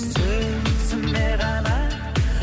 сөзіме ғана